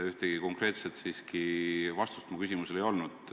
Ühtegi konkreetset vastust mu küsimusele ei olnud.